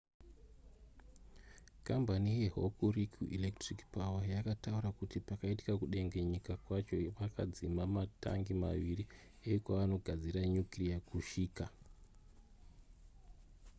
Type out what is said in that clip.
kambani yehokuriku electric power yakataura kuti pakaitika kudengenyeka kwacho vakadzima matangi maviri ekwavanogadzira nyukireya kushika